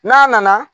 N'a nana